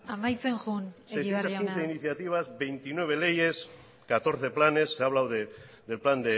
amaitzen joan egibar jauna seiscientos quince iniciativas veintinueve leyes catorce planes se ha hablado del plan